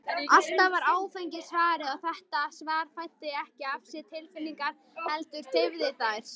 Alltaf var áfengi svarið, og þetta svar fæddi ekki af sér tilfinningar, heldur deyfði þær.